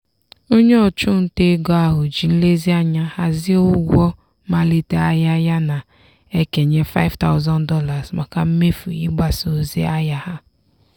onye ọchụnta ego ahụ ji nlezianya hazie ụgwọ mmalite ahịa ya na-ekenye $5000 maka mmefu ịgbasa ozi ahịa ha